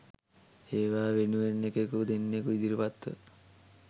ඒවා වෙනුවෙන් එකෙකු දෙන්නෙකු ඉදිරිපත් ව